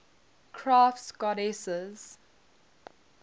crafts goddesses